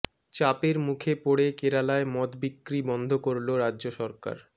চাপের মুখে পড়ে কেরালায় মদ বিক্রি বন্ধ করল রাজ্য সরকার